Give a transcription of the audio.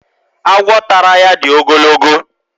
Agwọ tàrà ya dị ogologo